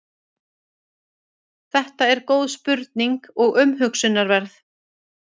þetta er góð spurning og umhugsunarverð